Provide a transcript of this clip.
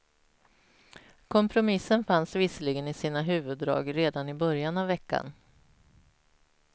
Kompromissen fanns visserligen i sina huvuddrag redan i början av veckan.